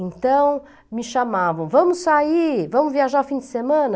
Então, me chamavam, vamos sair, vamos viajar fim de semana?